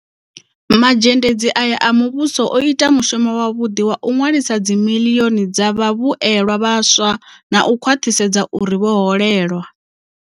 Mazhendedzi aya a muvhuso o ita mushumo wavhuḓi wa u ṅwalisa dzimiḽioni dza vhavhuelwa vhaswa na u khwaṱhisedza uri vho holelwa.